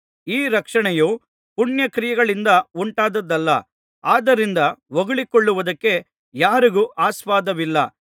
ಈ ರಕ್ಷಣೆಯೂ ಪುಣ್ಯಕ್ರಿಯೆಗಳಿಂದ ಉಂಟಾದದ್ದಲ್ಲ ಆದ್ದರಿಂದ ಹೊಗಳಿಕೊಳ್ಳುವುದಕ್ಕೆ ಯಾರಿಗೂ ಆಸ್ಪದವಿಲ್ಲ